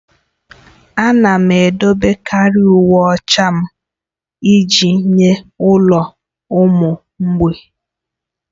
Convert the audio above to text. Ana m edebekarị uwe ochie m iji nye ụlọ ụmụ mgbei.